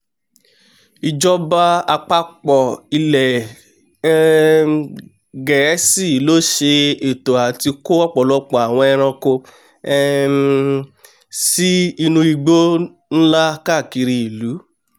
ìjọba àpápọ̀ ilẹ̀ um gẹ̀ẹ́sì ló ṣẹ ètò àti kó ọ̀pọ̀lọpọ̀ àwọn ẹranko um sí inú igbó nlá káàkiri ìlú